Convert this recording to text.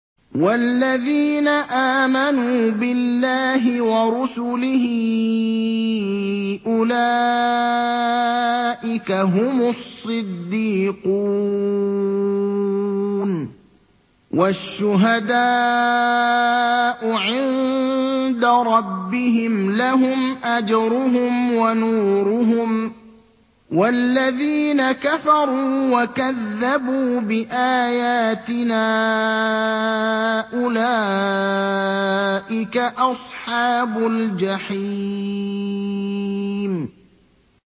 وَالَّذِينَ آمَنُوا بِاللَّهِ وَرُسُلِهِ أُولَٰئِكَ هُمُ الصِّدِّيقُونَ ۖ وَالشُّهَدَاءُ عِندَ رَبِّهِمْ لَهُمْ أَجْرُهُمْ وَنُورُهُمْ ۖ وَالَّذِينَ كَفَرُوا وَكَذَّبُوا بِآيَاتِنَا أُولَٰئِكَ أَصْحَابُ الْجَحِيمِ